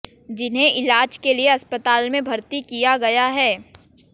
जिन्हें इलाज के लिए अस्पताल में भर्ती किया गया है